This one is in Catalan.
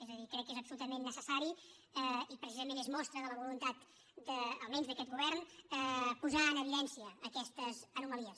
és a dir crec que és absolutament necessari i precisament és mostra de la voluntat almenys d’aquest govern posar en evidència aquestes anomalies